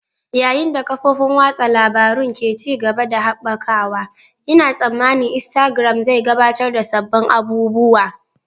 Yayin da kafofin watsa labarun ke ci gaba da haɓakawa, Ina tsammanin Instagram zai gabatar da sabbin abubuwa.